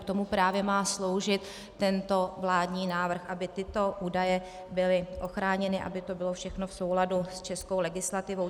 K tomu právě má sloužit tento vládní návrh, aby tyto údaje byly ochráněny, aby to bylo všechno v souladu s českou legislativou.